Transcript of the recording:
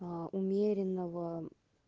а умеренного